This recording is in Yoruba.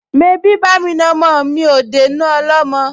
Mebí bá'mi na ọmọ mi á dénú ọlọ́mọ?